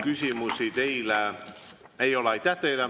Küsimusi teile ei ole.